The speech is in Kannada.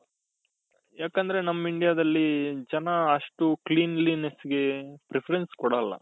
ಯಾಕಂದ್ರೆ ನಮ್ Indiaದಲ್ಲಿ ಜನ ಅಷ್ಟು cleanliness ಗೆ preference ಕೊಡಲ್ಲ